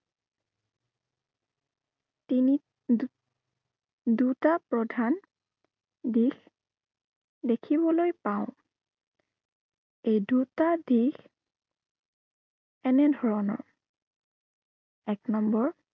তিনি, দু দুটা প্ৰধান দিশ দেখিবলৈ পাওঁ। এই দুটা দিশ এনে ধৰণৰ এক number